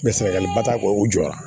Bɛ sɛgɛliba t'a kɔ u jɔra